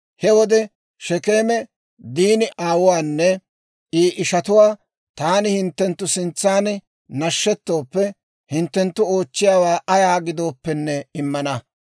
He wode Shekeeme Diini aawuwaanne I ishatuwaa, «Taani hinttenttu sintsaan nashettooppe, hinttenttu oochchiyaawaa ayaa gidooppenne immana.